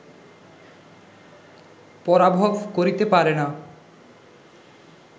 পরাভব করিতে পারে না